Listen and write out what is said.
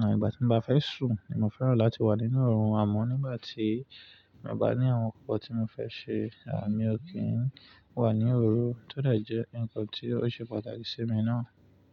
À ìgbà tí mo bá fẹ́ sùn, ni mo fẹ́ràn láti wà nínú òrùn àmọ́ nígbà tí mo gbá ní àwọn ǹkan kan tí mo fẹ́ ṣe, à mi ò kí ń wà ní òru. Tódẹ̀ jẹ́ ǹkan tí ó ṣe pàtàkì sí mi náà.